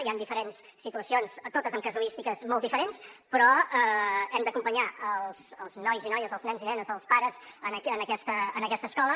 hi han diferents situacions totes amb casuístiques molt diferents però hem d’acompanyar els nois i noies els nens i nenes els pares en aquesta escola